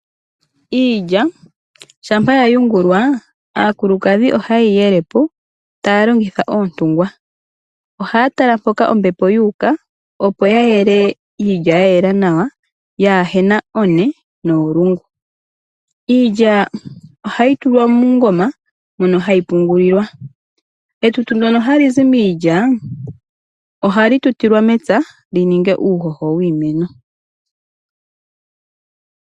Iilya shampa yayungulwa aakulukadhi ohaye yi yele po taya longitha oontungwa. Ohaya tala mpoka ombepo wuuka opo ya yele iilya ya yela nawa yaahena one noolungu. Iilya ohayi tulwa muungoma mono hayi pungulilwa. Etutu lyono hali zi miilya ohali tutilwa mepya lyininge uuhoho wiimeno.